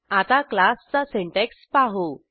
आता क्लासचा सिंटॅक्स पाहू